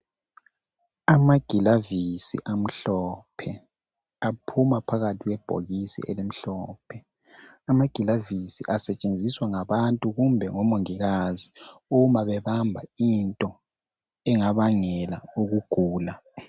Amagilovisi amhlophe aphuma phakathi kwebhokisi elimhlophe amagilovisi asetshenziswa ngabantu kumbe ngomongikazi uma bebamba into engabangela ukugula.